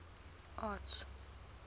arts